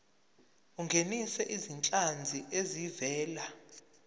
ungenise izinhlanzi ezivela